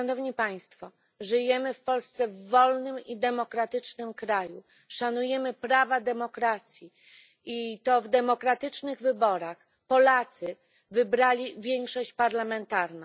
Polska jest wolnym i demokratycznym krajem, szanujemy prawa demokracji i to w demokratycznych wyborach Polacy wybrali większość parlamentarną.